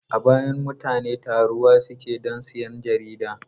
A baya mutane taruwa suke don sayan jarida.